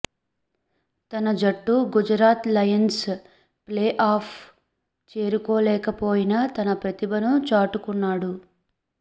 తన జట్టు Gujarat Lions play off చేరుకోలేకపోయినా తన ప్రతిభను చాటుకున్నాడు